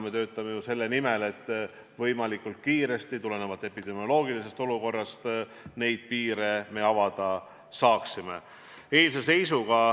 Me töötame ju selle nimel, et me tulenevalt epidemioloogilisest olukorrast võimalikult kiiresti piire avada saaksime.